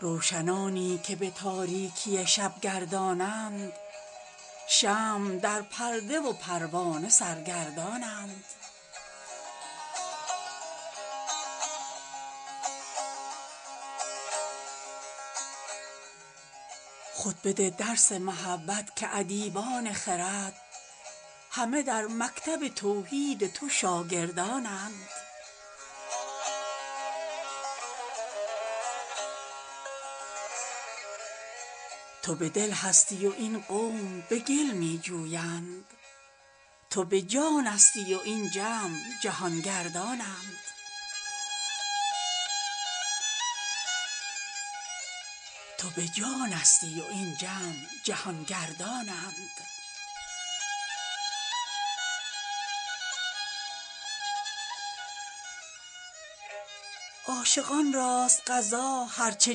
روشنانی که به تاریکی شب گردانند شمع در پرده و پروانه سر گردانند خود بده درس محبت که ادیبان خرد همه در مکتب توحید تو شاگردانند تو به دل هستی و این قوم به گل می جویند تو به جانستی و این جمع جهان گردانند رختبندان عدم بارگشایان وجود وین همه حیرت و اسرار ره آوردانند عاشقان راست قضا هر چه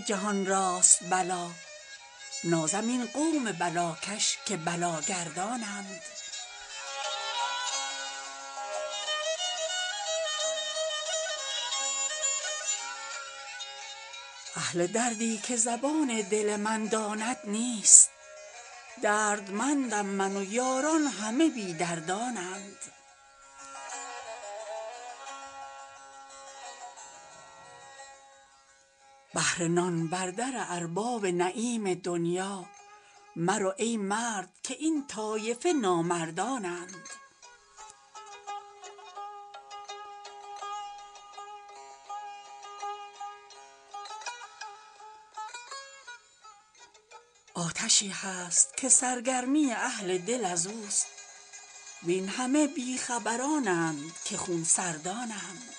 جهان راست بلا نازم این قوم بلاکش که بلاگردانند اهل دردی که زبان دل من داند نیست دردمندم من و یاران همه بی دردانند بهر نان بر در ارباب نعیم دنیا مرو ای مرد که این طایفه نامردانند آتشی هست که سرگرمی اهل دل از اوست وین همه بی خبرانند که خون سردانند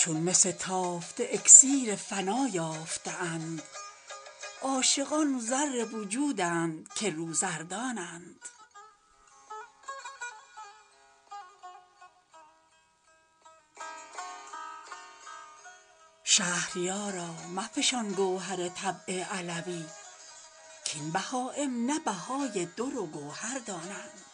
چون مس تافته اکسیر فنا یافته اند عاشقان زر وجودند که روزردانند شهریارا مفشان گوهر طبع علوی کاین بهایم نه بهای در و گوهر دانند